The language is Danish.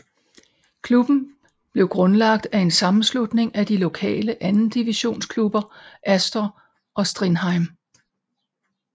Klubben blev grundlagt af en sammenslutning af de lokale andendivisionsklubber Astor og Strindheim